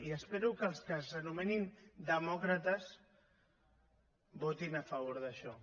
i espero que els que s’anomenin demòcrates votin a favor d’això